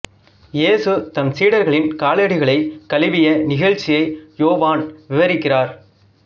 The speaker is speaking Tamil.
இயேசு தம் சீடர்களின் காலடிகளைக் கழுவிய நிகழ்ச்சியை யோவான் விவரிக்கிறார்